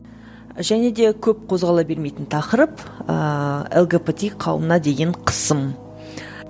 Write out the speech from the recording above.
және де көп қозғала бермейтін тақырып ыыы лгбт қауымына деген қысым